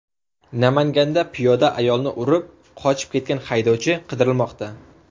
Namanganda piyoda ayolni urib, qochib ketgan haydovchi qidirilmoqda.